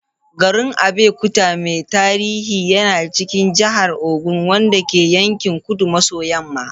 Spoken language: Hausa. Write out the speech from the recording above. Garin Abeokuta mai tarihi yana cikin jihar Ogun, wanda ke yankin kudu maso yamma.